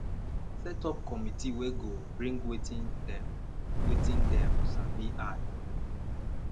set up committe wey go bring wetin dem wetin dem sabi add for your own